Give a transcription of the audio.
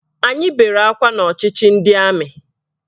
Anyị bere akwa n'ọchịchị ndị amị